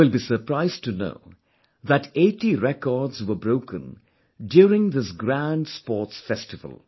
You will be surprised to know that 80 records were broken during this grand sports festival